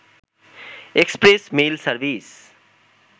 express mail service